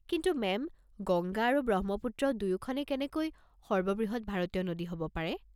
কিন্তু মেম, গংগা আৰু ব্ৰহ্মপুত্ৰ দুয়োখনে কেনেকৈ সৰ্ববৃহৎ ভাৰতীয় নদী হ'ব পাৰে?